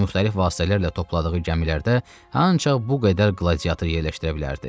Müxtəlif vasitələrlə topladığı gəmilərdə ancaq bu qədər qladiator yerləşdirə bilərdi.